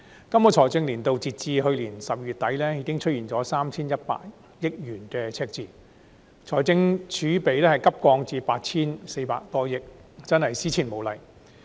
今個財政年度截至去年12月底，已出現 3,100 億元赤字，財政儲備急降至 8,400 多億元，真是史無前例。